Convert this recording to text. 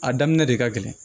A daminɛ de ka gɛlɛn